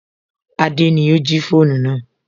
Adé ni ó jí fóònù náà